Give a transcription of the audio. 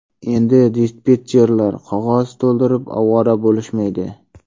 Endi dispetcherlar qog‘oz to‘ldirib ovora bo‘lishmaydi.